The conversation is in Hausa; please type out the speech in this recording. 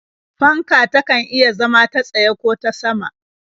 Fanka takan iya zama ta tsaye ko ta sama.